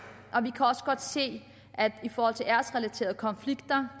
og vi kan også godt se at der i forhold til æresrelaterede konflikter